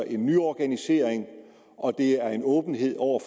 en nyorganisering og det er en åbenhed over